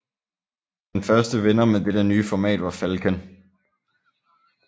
Den første vinder med dette nye format var Falcon